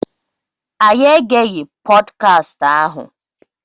Anyị egeghị pọdkast ahụ.